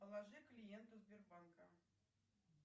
положи клиенту сбербанка